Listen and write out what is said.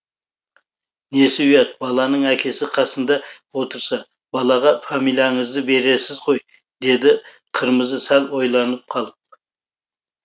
несі ұят баланың әкесі қасында отырса балаға фамилияңызды бересіз ғой деді қырмызы сәл ойланып қалып